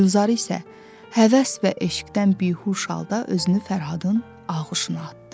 Gülzar isə həvəs və eşqdən bihuş halda özünü Fərhadın ağuşuna atdı.